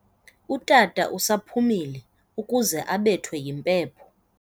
Utata usaphumile ukuze abethwe yimpepho.